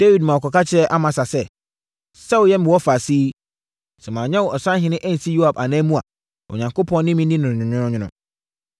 Dawid ma wɔkɔka kyerɛɛ Amasa sɛ, “Sɛ woyɛ me wɔfaase yi, sɛ manyɛ wo ɔsahene ansi Yoab ananmu a, Onyankopɔn ne me nni no nwononwono.”